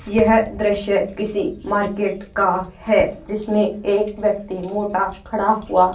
यह दृश्य किसी मार्केट का है जिसमें एक व्यक्ति मोटा खड़ा हुआ--